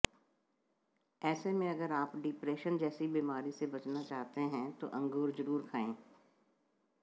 ऐसे में अगर आप डिप्रेशन जैसी बीमारी से बचना चाहते हैं तो अंगूर जरूर खाएं